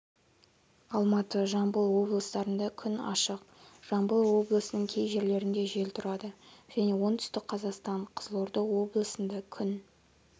алматы жамбыл облыстарында күн ашық жамбыл облысыныңкей жерлерінде жел тұрады және оңтүстік қазақстан қызылорда облысында күн